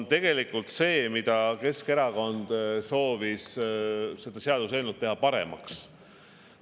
Tegelikult Keskerakond soovis teha seda seaduseelnõu paremaks.